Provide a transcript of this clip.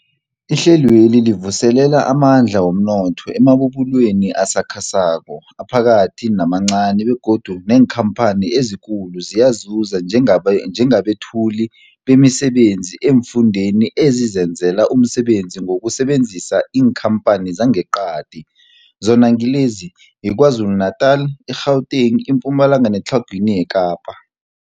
Ihlelweli livuselela amandla womnotho emabubulweni asakhasako, aphakathi namancani begodu neenkhamphani ezikulu ziyazuza njengabethuli bemisebenzi eemfundeni ezizenzela umsebenzi ngokusebenzisa iinkhamphani zangeqadi, zona ngilezi, yiKwaZulu-Natala, i-Gauteng, iMpumalanga neTlhagwini Kapa.